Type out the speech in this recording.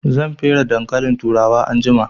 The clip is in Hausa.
Zan fere dankalin turawa anjima